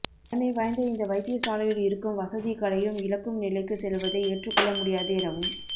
பழமை வாய்ந்த இந்த வைத்திய சாலையில் இருக்கும் வசதிகளையும் இழக்கும் நிலைக்கு செல்வதை ஏற்றுக்கொள்ள முடியாது எனவும்